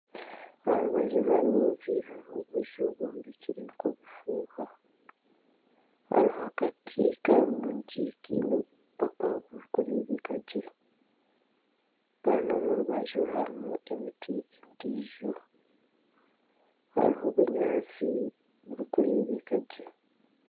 Aha rubanju rw'amaizi hariho obuju bwombekirwe nk'obufuuha hariho akati kurungi kiine obupaapa buri kureebeka gye kandi omu rubaju harimu emiti endiijo hariho obunyaatsi buri kureebeka gye.